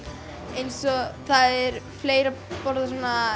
eins og það er fleira borðað svona